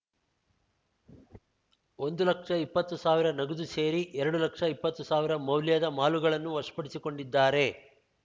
ಒಂದು ಲಕ್ಷ ಇಪ್ಪತ್ತು ಸಾವಿರ ನಗದು ಸೇರಿ ಎರಡು ಲಕ್ಷ ಇಪ್ಪತ್ತು ಸಾವಿರ ಮೌಲ್ಯದ ಮಾಲುಗಳನ್ನು ವಶಪಡಿಸಿಕೊಂಡಿದ್ದಾರೆ